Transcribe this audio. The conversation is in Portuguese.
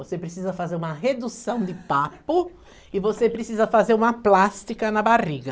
Você precisa fazer uma redução de papo e você precisa fazer uma plástica na barriga.